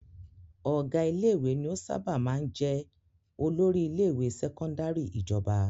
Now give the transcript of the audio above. Ọ̀gá ilé-ìwé ni ó sábà máa jẹ olórí ilé-ìwé sẹ́kọ́ndárì ìjọba.